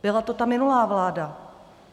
Byla to ta minulá vláda.